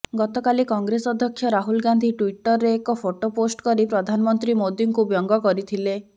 ଗତକାଲି କଂଗ୍ରେସ ଅଧ୍ୟକ୍ଷ ରାହୁଲ ଗାନ୍ଧୀ ଟ୍ବିଟର୍ରେ ଏକ ଫଟୋ ପୋଷ୍ଟ୍ କରି ପ୍ରଧାନମନ୍ତ୍ରୀ ମୋଦୀଙ୍କୁ ବ୍ୟଙ୍ଗ କରିଥିଲେ